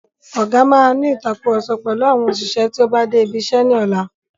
Ọgá máa ní ìtàkurọ̀sọ pẹ̀lú àwọn òṣìṣẹ́ tí o bá dé ibi iṣẹ́ ní ọlá.